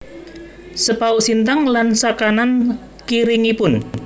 Sepauk Sintang lan sakanan kiringipun